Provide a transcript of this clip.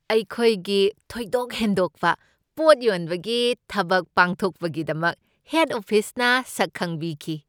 ꯑꯩꯈꯣꯏꯒꯤ ꯊꯣꯏꯗꯣꯛ ꯍꯦꯟꯗꯣꯛꯄ ꯄꯣꯠ ꯌꯣꯟꯕꯒꯤ ꯊꯕꯛ ꯄꯥꯡꯊꯣꯛꯄꯒꯤꯗꯃꯛ ꯍꯦꯗ ꯑꯣꯐꯤꯁꯅ ꯁꯛ ꯈꯪꯕꯤꯈꯤ꯫